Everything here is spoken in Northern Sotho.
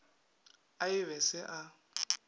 a e be se a